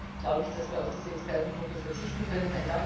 Insofern glaube ich, dass wir auf die Expertengruppe verzichten können.